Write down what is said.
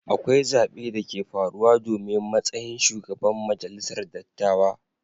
Akwai zabe da ke farruwa domin matsayin shugaban majalisar dattawa.